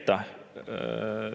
Aitäh!